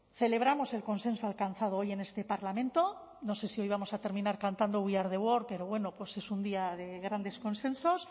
celebramos el consenso alcanzado hoy en este parlamento no sé si hoy vamos a terminar cantando we are the world pero bueno pues es un día de grandes consensos